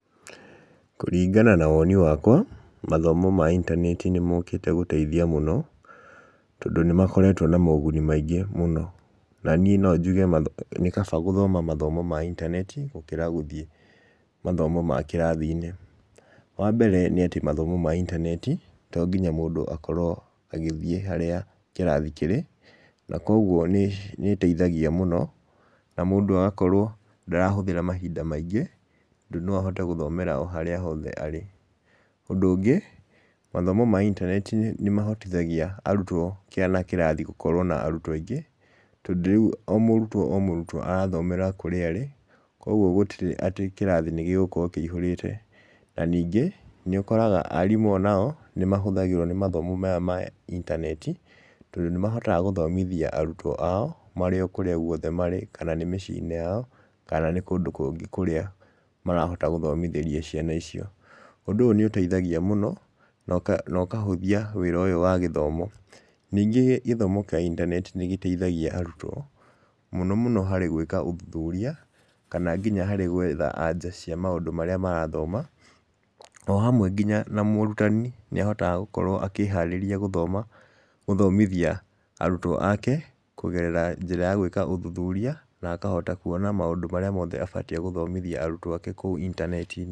Kũringana na woni wakwa, mathomo ma intaneti nĩ mokĩte gũteithia mũno, tondũ nĩ makoretwo na moguni maingĩ mũno, na niĩ no njuge nĩ kaba gũthoma mathomo ma intaneti, gũkĩra gũthiĩ mathomo ma kĩrathi-nĩ. Wambere nĩ atĩ mathomo ma intaneti, to nginya mũndũ akorwo agĩthiĩ harĩa kĩrathi kĩrĩ, na koguo nĩ nĩ ĩteithagia mũno, na mũndũ agakorwo ndarahũthĩra mahinda maingĩ, tondũ no ahote gũthomera harĩa hothe arĩ. Ũndũ ũngĩ, mathomo ma intaneti nĩ mahotithagia arutwo kana kĩrathi gũkorwo na arutwo aingĩ, tondũ rĩu o mũrutwo o mũrutwo arathomera kũrĩa arĩ, kogwo gũtirĩ atĩ kĩrathi nĩ gĩgũkorwo kĩihũrĩte, na ningĩ, nĩ ũkoraga arimũ onao, nĩ mahũthagĩrwo nĩ mathomo maya ma intaneti, tondũ nĩ mahotaga gũthomithia arutwo ao, marĩ o kũrĩa guothe marĩ, kana nĩ mĩciĩ-inĩ yao kana nĩ kũndũ kũngĩ kũrĩa marahota gũthomithĩria ciana icio, ũndũ ũyũ nĩ ũteithagia mũno, na ũkahũthia wĩra ũyũ wa gĩthomo. Ningĩ gĩthomo kĩa intaneti nĩ gĩteithagia arutwo, mũno mũno harĩ gwĩka ũthuthuria kana nginya harĩ gwetha anja cia maũndũ marĩa marathoma, ohamwe nginya na mũrutani nĩ ahotaga gũkorwo akĩharĩria gũthoma gũthomithia arutwo ake, kũgerera njĩra ya gwĩka ũthuthuria na akahota kuona maũndũ marĩa mothe abatie gũthomithia arutwo ake kũu intaneti-inĩ.